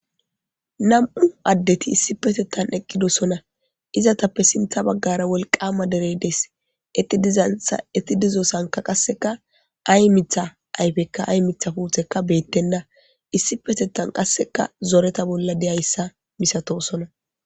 Nam'u addeti issippetethan eqidosona eetappe sintha bagara wiolqama derey dees. Eeti dizasonka ay Mitha puuteyka ay Mitha ayfeyka beetena issipetethan qaseka zoreta bolla dizaysa milatoosona.